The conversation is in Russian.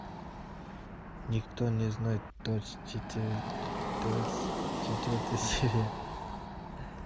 никто не знает двадцать четвертая серия